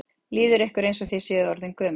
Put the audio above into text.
Líður ykkur eins og þið séu orðin gömul?